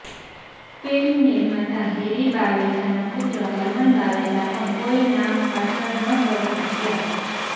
film નિર્માતા હૅરી બાવેજાના પુત્ર હરમન બાવેજા પણ કોઈ નામ હાસલ ન કરી શક્યાં